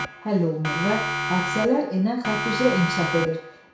həll olunur və hadisələr enən xətt üzrə inkişaf edir.